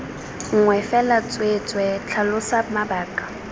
nngwe fela tsweetswee tlhalosa mabaka